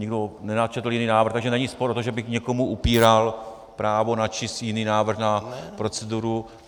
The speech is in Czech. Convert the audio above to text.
Nikdo nenačetl jiný návrh, takže není spor o to, že bych někomu upíral právo načíst jiný návrh na proceduru.